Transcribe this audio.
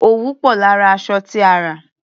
Òwú pò lára aṣọ tí a rà.